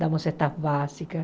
Damos cestas básicas.